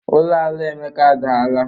Ụlọ ala Emeka adaara.